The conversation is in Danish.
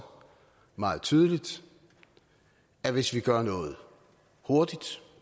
meget tydeligt at hvis vi gør noget hurtigt